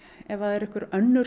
ef það eru einhver önnur